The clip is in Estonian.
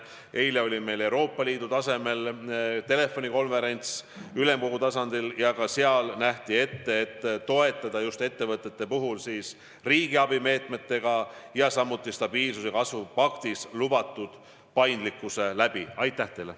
Eile oli meil Euroopa Ülemkogu tasemel telefonikonverents, ka seal oldi seisukohal, et tuleb ettevõtteid toetada riigiabi meetmete abil, samuti stabiilsuse ja kasvu paktis lubatud paindlikkuse abil.